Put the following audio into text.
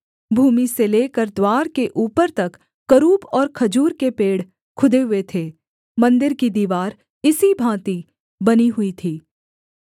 भूमि से लेकर द्वार के ऊपर तक करूब और खजूर के पेड़ खुदे हुए थे मन्दिर की दीवार इसी भाँति बनी हुई थी